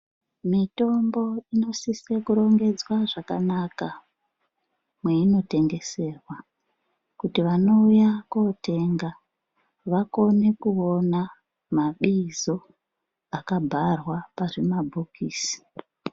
Mitombo inosise kurongedzwa zvakanaka mweinotengeserwa kuti vanouya kotenga vakone kuvona mabingiso akagarwa pazvimabhokisi .